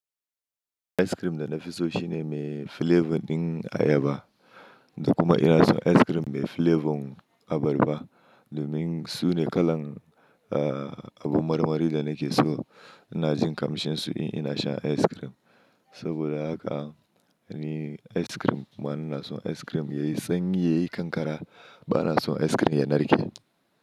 Ice cream da na fi so shi ne mai flavour ɗin ayaba, da kuma ina son ice cream mai flavour abarba. Domin su ne kalan, eh, abun marmari da nake so. Ina jin kamshin su in ina sha ice cream. Saboda haka ni ice cream, ma ina son ice cream yayi sanyi yayi kankara. Ba na son ice cream ya narke.